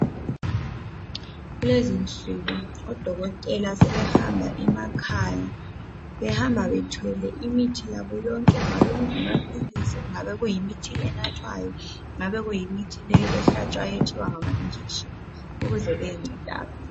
Kulezinsuku odokotela sebehamba emakhaya. Behamba bethwele imithi yabo yonke kungaba, kungamaphilisi kungaba kuyimithi enathwayo, kungabe kuyimithi leyi ehlatshwayo ethiwa ngamajekiseni ukuze bayenceda abantu.